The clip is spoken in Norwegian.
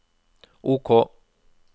OK